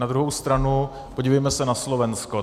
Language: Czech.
Na druhou stranu - podívejme se na Slovensko.